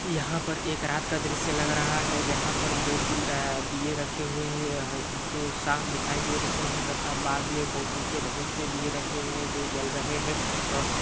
यहाँ पर एक रात का दृश्य लग रहा है जहाँ पर दो तीन आ दिए रखे हुए है यहाँ जो साफ़ दिखाई दे रहे है तथा बाद में बौ पीछे बहुत से दिए रखे हुए है जो जल रहे है और